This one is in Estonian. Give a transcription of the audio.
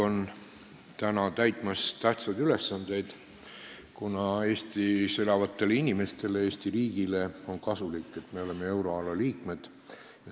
Eesti Pank täidab tähtsaid ülesandeid, kuna Eestis elavatele inimestele, Eesti riigile on kasulik see, et me oleme euroala liikmed.